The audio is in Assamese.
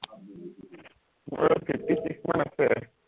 মোৰ লগত fifty six মান আছে